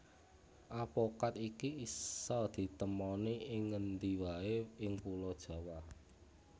Apokat iki isa ditemoni ing ngendi waé ing Pulo Jawa